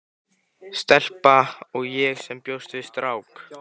Stelpa- og ég sem bjóst við strák.